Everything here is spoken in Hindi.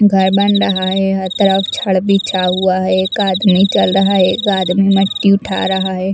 घर बन रहा है हर तरफ छड़ बिछा हुआ है एक आदमी चल रहा है एक आदमी मिट्टी उठा रहा है।